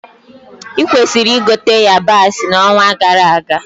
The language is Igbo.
Ị kwesịrị ịgote yabasị na onwa gara aga